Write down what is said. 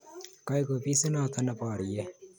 Koek ofisinoto neborie